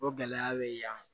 O gɛlɛya bɛ yan